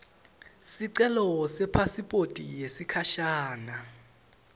sicelo sepasiphothi yesikhashana